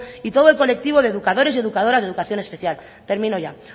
y todo el colectivo de educadores y educadoras de educación especial termino ya